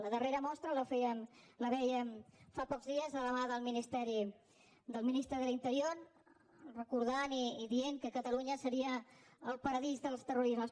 la darrera mostra la vèiem fa pocs dies de la mà del ministeri del ministre de l’interior recordant i dient que catalunya seria el paradís dels terroristes